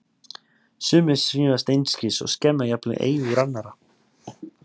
Sumir svífast einskis og skemma jafnvel eigur annarra.